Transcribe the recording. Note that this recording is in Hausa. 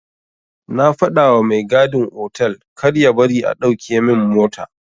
Na fadawa mai gadin otal karya bari a dauke min mota.